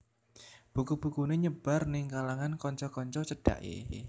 Buku bukuné nyebar ning kalangan kanca kanca cedhaké